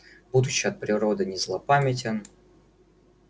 будучи от природы не злопамятен